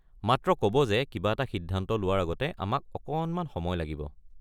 মাত্ৰ ক'ব যে কিবা এটা সিদ্ধান্ত লোৱাৰ আগতে আমাক অকণমান সময় লাগিব।